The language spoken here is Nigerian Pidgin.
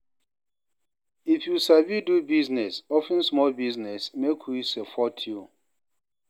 If you sabi do business, open small business, make we support you